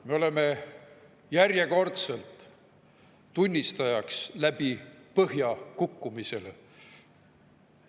Me oleme järjekordselt tunnistajaks läbi põhja kukkumisele.